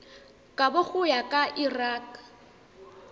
kabo go ya ka lrad